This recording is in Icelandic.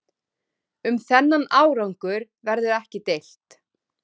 Um þennan árangur verður ekki deilt